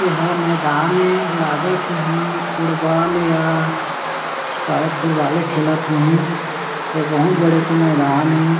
एहा मैदान ए लागत हे इहा फुटबॉल या शायद फुटबॉले खेलत हो ही ए बहुत बड़े एक मैदान ए।